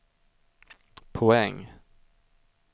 poäng